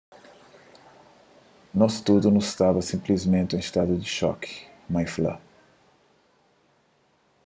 nos tudu nu staba sinplismenti en stadu di xoki mai fla